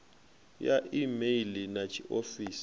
ya e meili na tshifhio